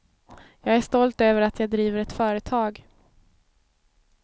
Jag är stolt över att jag driver ett företag.